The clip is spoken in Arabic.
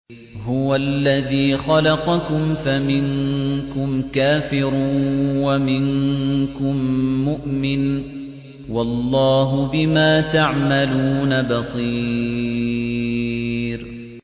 هُوَ الَّذِي خَلَقَكُمْ فَمِنكُمْ كَافِرٌ وَمِنكُم مُّؤْمِنٌ ۚ وَاللَّهُ بِمَا تَعْمَلُونَ بَصِيرٌ